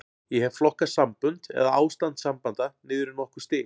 Ég hef flokkað sambönd, eða ástand sambanda, niður í nokkur stig.